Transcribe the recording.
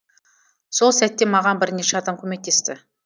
сол сәтте маған бірнеше адам көмектесті